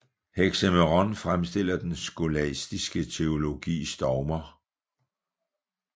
Hexaëmeron fremstiller den skolastiske teologis dogmer